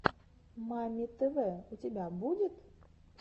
мамми тв у тебя будет